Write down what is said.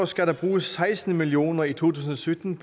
skal bruges seksten million kroner i to tusind og sytten